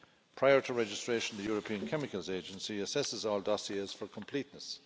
Prior to registration, the European Chemicals Agency assesses all dossiers for completeness.